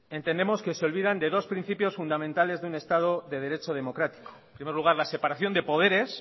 entendemos que se olvidan de dos principios fundamentales de un estado de derecho democrático en primer lugar la separación de poderes